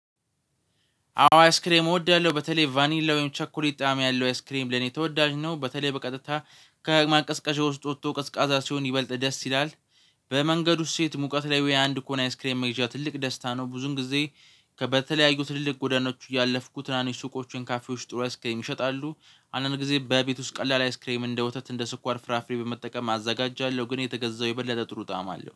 አዎ አይስክሬም እወዳለሁ በተለይ ቫኒላ ወይም ቸኮሊት ጣዕም ያለው አይስክሬም ለኔ ተወዳጅ ነው። በተለይ በቀጥታ ከማቀዝቀዣው ውስጥ ወጥቶ ቀስቃዛ ሲሆን ይበልጥ ደስ ይላል። በመንገዱ ሴት ሙቀት ላይ ወይ አንድ ከሆነ አይስክሬም መግዣ ትልቅ ደስታ ነው። ብዙን ጊዜ በተለያዩ ትልልቅ ጎዳናዎች እያለፍኩት ትናንሽ ሱቆችን ካፌዎች ጥሩ አይስክሬም ይሸጣሉ። አንዳንድ ጊዜ በቤት ውስጥ ቀላል አይስክሬም እንደ ወተት እንደ ስኳር ፍራፍሬ በመጠቀም አዘጋጃለሁ። ግን የተገዛው የበለጠ ጥሩ ጣዕም አለው